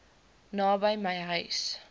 naby my huis